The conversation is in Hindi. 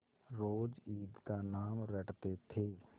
रोज ईद का नाम रटते थे